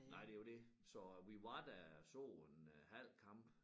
Nej det jo det så vi var der så en øh halv kamp